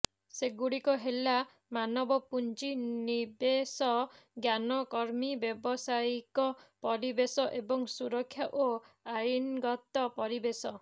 ସେଗୁଡ଼ିକ ହେଲା ମାନବ ପୁଞ୍ଜି ନିବେଶ ଜ୍ଞାନ କର୍ମୀ ବ୍ୟବସାୟିକ ପରିବେଶ ଏବଂ ସୁରକ୍ଷା ଓ ଆଇନଗତ ପରିବେଶ